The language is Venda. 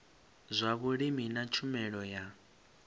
zwa vhulimi na tshumelo ya